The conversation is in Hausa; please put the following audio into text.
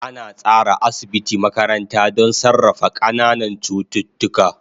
An tsara asibiti makaranta don sarrafa ƙananan cututtuka.